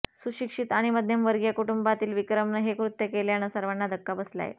सुशिक्षित आणि मध्यमवर्गीय कुटुंबातील विक्रमनं हे कृत्य केल्यानं सर्वांना धक्का बसलाय